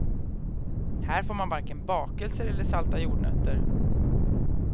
Här får man varken bakelser eller salta jordnötter.